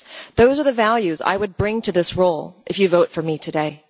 Those are the values I would bring to this role if you vote for me today.